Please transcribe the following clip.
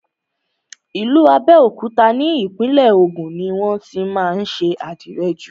Ìlú Abẹ́òkúta ni Ìpínlẹ̀ Ògùn ni wọ́n tí má ń ṣe àdìrẹ jù.